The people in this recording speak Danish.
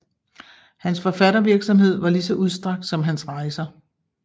Hans forfattervirksomhed var lige så udstrakt som hans rejser